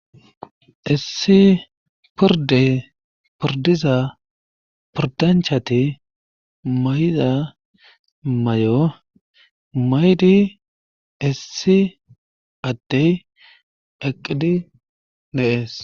Issi porde pordiza pordanchati mayda may7o maydi issi addey eqqidi neees